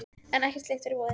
En ekkert slíkt var í boði.